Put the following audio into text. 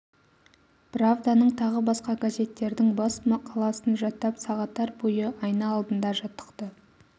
правданың тағы басқа газеттердің бас мақаласын жаттап сағаттар бойы айна алдында жаттықты